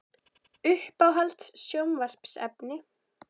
Uppáhalds sjónvarpsefni?